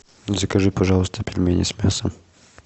закажи пожалуйста пельмени с мясом